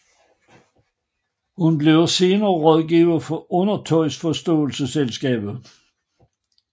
Hun bliver senere rådgiver for Undertøjsforståelsesselskabet